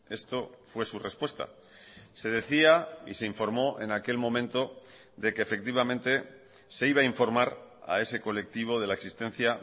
esto fue su respuesta se decía y se informó en aquel momento de que efectivamente se iba a informar a ese colectivo de la existencia